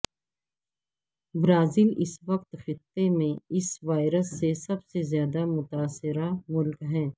Brazil اس وقت خطے میں اس وائرس سے سب سے زیادہ متاثرہ ملک ہے